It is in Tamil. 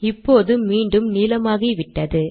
இப்போது மீண்டும் நீலமாகிவிட்டது